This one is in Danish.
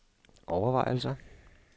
overvejelser